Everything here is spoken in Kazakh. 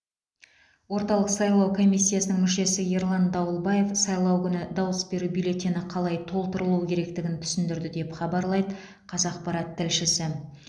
орталық сайлау комиссиясының мүшесі ерлан дауылбаев сайлау күні дауыс беру бюллетені қалай толтырылуы керектігін түсіндірді деп хабарлайды қазақпарат тілшісі